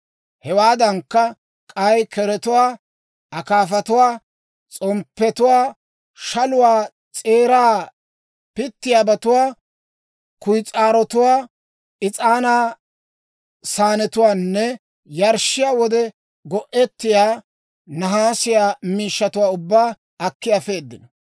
Hewaadankka, k'ay keretuwaa, akaafatuwaa, s'omppiyaa shaluwaa s'eeraa pittiyaabatuwaa, kuyis'aarotuwaa, is'aanaa saanetuwaanne yarshshiyaa wode go'ettiyaa nahaasiyaa miishshatuwaa ubbaa akki afeedino.